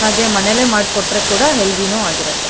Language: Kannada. ಹಾಗೆ ಮನೇಲೇ ಮಾಡಿ ಕೊಟ್ರೆ ಕೂಡ ಹೆಲ್ತಿ ನೂ ಆಗಿರುತ್ತೆ.